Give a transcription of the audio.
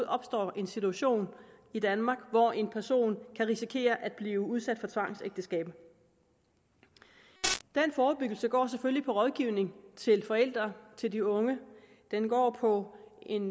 opstår en situation i danmark hvor en person kan risikere at blive udsat for tvangsægteskab den forebyggelse går selvfølgelig på rådgivning til forældre til de unge den går på en